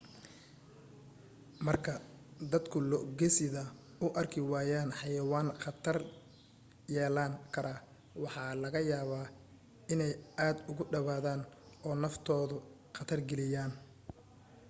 marka dadku lo' gesida u arki waayaan xayawaan khatar yeelan kara waxa laga yaabaa inay aad ugu dhawaadaan oo naftooda khatar geliyaan